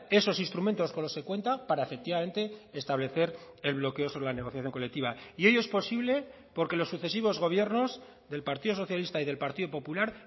esos instrumentos con los que cuenta para efectivamente establecer el bloqueo sobre la negociación colectiva y ello es posible porque los sucesivos gobiernos del partido socialista y del partido popular